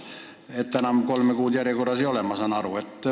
Saan aru, et enam kolme kuud järjekorras ootama ei pea.